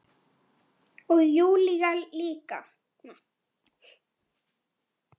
Og Júlía líka.